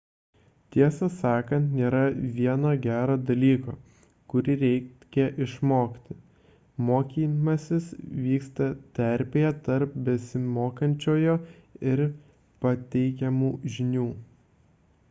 tiesą sakant nėra vieno gero dalyko kurį reikia išmokti mokymasis vyksta terpėje tarp besimokančiojo ir pateikiamų žinių